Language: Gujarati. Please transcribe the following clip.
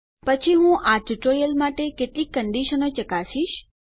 પછી હું આ ટ્યુટોરીયલ માટે કેટલીક કંડીશનો ચકાશીશ